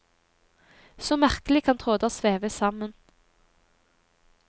Så merkelig kan tråder veves sammen.